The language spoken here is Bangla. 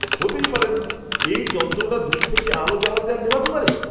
হতেই পারে না! এই যন্ত্রটা দূর থেকে আলো জ্বালাতে আর নেভাতে পারে?